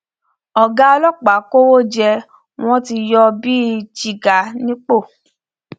ọgá ọlọpàá kọwọ jẹ wọn ti yọ ọ bíi jígà nípò